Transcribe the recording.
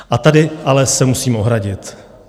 A tady ale se musím ohradit.